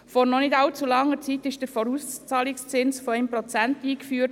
Vor noch nicht allzu langer Zeit wurde der Vorauszahlungszins von 1 Prozent eingeführt.